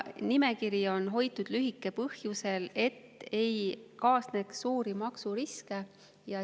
Nimekirja on hoitud lühikesena põhjusel, et ei kaasneks suuri maksuriske.